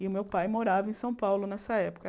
E o meu pai morava em São Paulo nessa época.